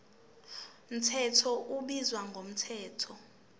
mthetho ubizwa ngomthetho